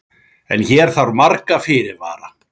en hér þarf marga fyrirvara